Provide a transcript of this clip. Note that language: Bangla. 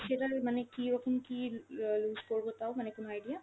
সেটার মানে কীরকম কী অ্যাঁ lose করব তাও? মানে কোনো idea!